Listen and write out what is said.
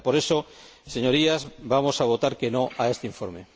30. Por eso, Señorías, vamos a votar en contra de este informe.